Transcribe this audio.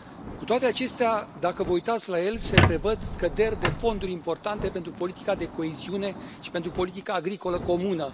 Cu toate acestea, dacă vă uitați la el, se prevăd scăderi de fonduri importante pentru politica de coeziune și pentru politica agricolă comună.